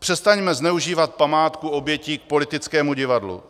Přestaňme zneužívat památku obětí k politickému divadlu.